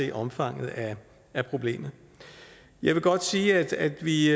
det omfanget af problemet jeg vil godt sige at vi i